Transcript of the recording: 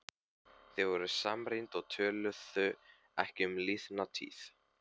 Þau voru samrýnd og töluðu ekki um liðna tíð.